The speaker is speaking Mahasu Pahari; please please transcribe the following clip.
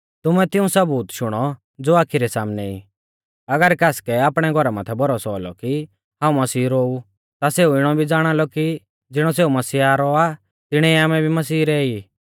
तुमैं तिऊं सबूत शुणौ ज़ो आखी रै सामनै ई अगर कासकै आपणै घौरा माथै भरोसौ औलौ कि हाऊं मसीह रौ ऊ ता सेऊ इणौ भी ज़ाणालौ कि ज़िणौ सेऊ मसीहा रौ आ तिणै आमै भी मसीह रै ई